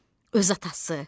Öz atası.